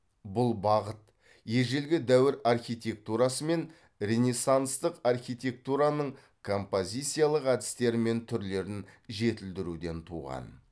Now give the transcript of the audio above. бұл бағыт ежелгі дәуір архитектурасы мен ренессанстық архитектураның композициялық әдістері мен түрлерін жетілдіруден туған